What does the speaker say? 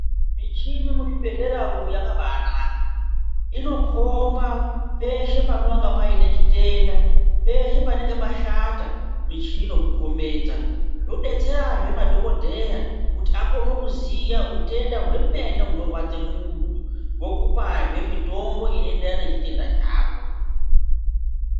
Michina mu zvibhedhlera umo yakabai naka inokomba peshe panonga paine chitenda peshe panenge pashata michini inoku kombedza zvodetsera zve madhokodheya kuti akone kuziya utenda hwemene huno rwadze munhu wokupazve mutombo uno enderana ne chitenda chako.